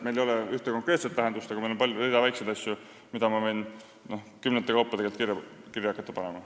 Siin ei ole ühte konkreetset lahendust, aga on rida väikeseid asju, mida ma võin hakata tegelikult kümnete kaupa kirja panema.